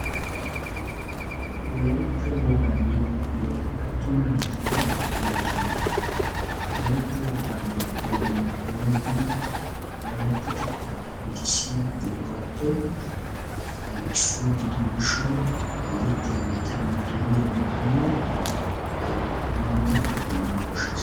Wolaytta wogaa yexxiyaa attuma naatanne macca naata wolaytta wogaa yexxiyoogeenne duriyoogee wolayttateta qonccisiyaa buqurappe issuwaa gidiyoo gishshawu yexxiyageetane duriyaageetuyoo minttetuwaa immana koshsheetes.